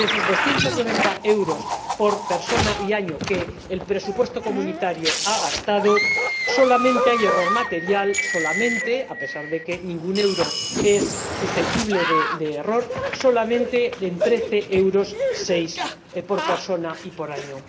Y, de esos 290 euros por persona y año que el presupuesto de la Unión ha gastado, solamente hay error material —solamente, a pesar de que ningún euro es susceptible de error— en 13,6 euros por persona y por año.